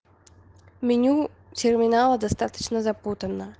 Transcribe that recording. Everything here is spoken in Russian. меню терминала достаточно запутано